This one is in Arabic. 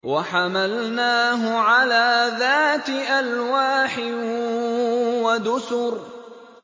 وَحَمَلْنَاهُ عَلَىٰ ذَاتِ أَلْوَاحٍ وَدُسُرٍ